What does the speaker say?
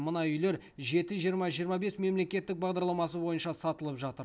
мына үйлер жеті жиырма жиырма бес мемлекеттік бағдарламасы бойынша сатылып жатыр